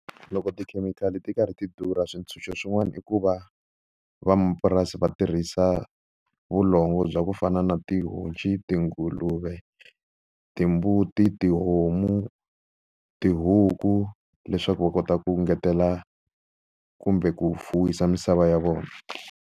Loko tikhemikhali ti karhi ti durha swintshuxo swin'wana i ku va van'wamapurasi va tirhisa vulongo bya ku fana na tihonci, tinguluve, timbuti, tihomu tihuku leswaku va kota ku ngetela kumbe ku fuwisa misava ya vona.